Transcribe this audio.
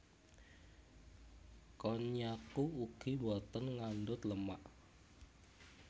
Konnyaku ugi boten ngandhut lemak